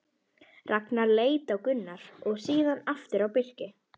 Ragnar leit á Gunnar og síðan aftur á Birki.